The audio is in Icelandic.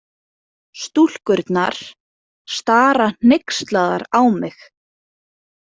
Stúlkurnar stara hneykslaðar á mig.